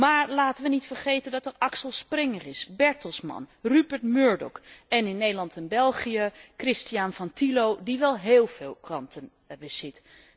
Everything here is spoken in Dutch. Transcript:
Maar laten we niet vergeten dat er Axel Springer is, Bertelsmann, Rupert Murdoch, en in Nederland en België, Christian van Thillo die wel heel veel kranten bezit.